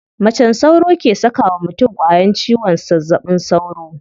Macen sauro ke saka wa mutum ƙwayan ciwon zazzaɓin sauro.